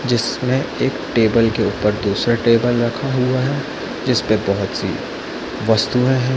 जिसमे एक टेबल के ऊपर दूसरा टेबल रखा हुआ है जिसपे बहोत सी वस्तुऐ है।